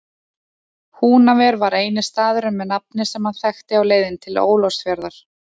Húnaver var eini staðurinn með nafni sem hann þekkti á leiðinni til Ólafsfjarðar.